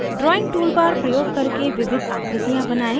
#drawing tool bar प्रयोग करके विविध आकृतियाँ बनाएं